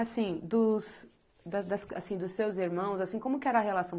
Assim, dos das das assim, dos seus irmãos, como que era a relação?